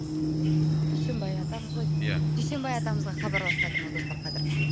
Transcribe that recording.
дүйсенбай атамыз ғой деймін ия дүйсенбай атамызға хабарласып жатырмыз достар қазір